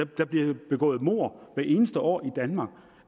der bliver begået mord hvert eneste år i danmark